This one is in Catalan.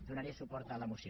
donaré suport a la moció